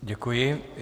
Děkuji.